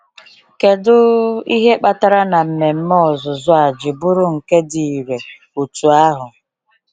Kedu ihe kpatara na mmemme ọzụzụ a ji bụrụ nke dị irè otú ahụ?